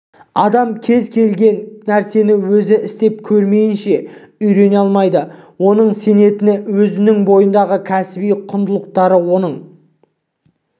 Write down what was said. адам кез келген нәрсені өзі істеп көрмейінше үйрене алмайды оның сенетіні өзінің бойындағы кәсіби құндылықтары оның